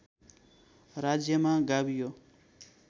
राज्यमा गाभियो